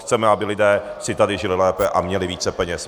Chceme, aby lidé si tady žili lépe a měli více peněz.